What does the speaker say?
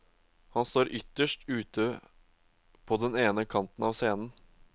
Han står ytterst ute på den ene kanten av scenen.